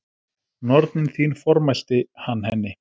Nornin þín formælti hann henni.